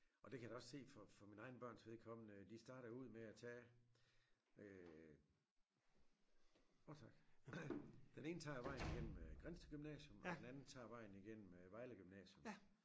Og det kan jeg da også se for mine egne børns vedkommende de starter ud med at tage øh den ene tager vejen gennem øh Grindsted Gymnasium og den anden tager vejen igennem øh Vejle Gymnasium